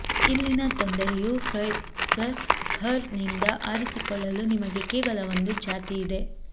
ಇಲ್ಲಿನ ತೊಂದರೆಯು Fraser fir ನಿಂದ ಆರಿಸಿಕೊಳ್ಳಲು ನಿಮಗೆ ಕೇವಲ ಒಂದು ಜಾತಿಯಿದೆ